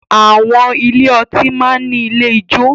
Àwọn ilé ọtí máa ń ní ilé ìjo